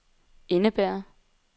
indebærer